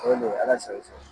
O le don, ala sago, i sago.